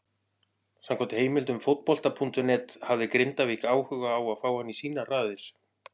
Samkvæmt heimildum Fótbolta.net hafði Grindavík áhuga á að fá hann í sínar raðir.